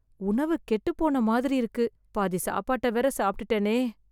உணவு கெட்டுப்போன மாதிரி இருக்கு, பாதி சாப்பாட்ட வேற சாப்பிட்டுட்டனே